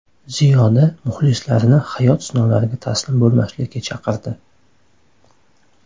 Ziyoda muxlislarini hayot sinovlariga taslim bo‘lmaslikka chaqirdi.